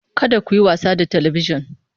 Kada ku yi wasa da Talabijin!